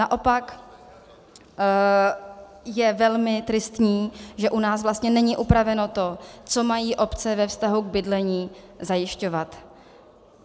Naopak je velmi tristní, že u nás vlastně není upraveno to, co mají obce ve vztahu k bydlení zajišťovat.